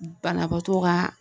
Banabaatɔw ka